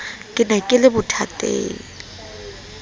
ke ne ke le bothateng